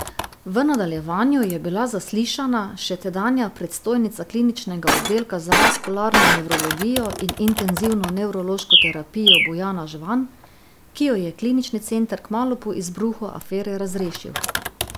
V nadaljevanju je bila zaslišana še tedanja predstojnica kliničnega oddelka za vaskularno nevrologijo in intenzivno nevrološko terapijo Bojana Žvan, ki jo je klinični center kmalu po izbruhu afere razrešil.